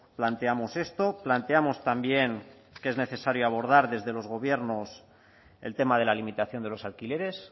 planteamos esto planteamos también que es necesario abordar desde los gobiernos el tema de la limitación de los alquileres